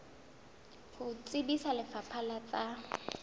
ho tsebisa lefapha la tsa